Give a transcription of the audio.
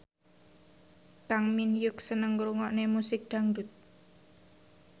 Kang Min Hyuk seneng ngrungokne musik dangdut